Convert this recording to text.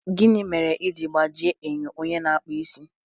Gịnị mere i ji gbajie enyo onye na-akpụ isi?